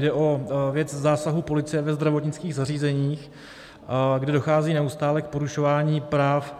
Jde o věc zásahů policie ve zdravotnických zařízeních, kde dochází neustále k porušování práv